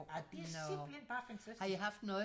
Ja det er simpelthen bare fantastisk